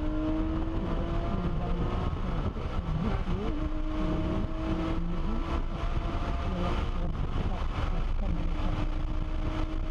Nidaam waxbarasho oo dib loo habeeyey ayaa muhiim u ah nabad waarta oo ka dhalata .